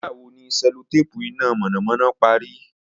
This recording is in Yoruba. Nigbawo ni cellotape ina mọnamọna pari?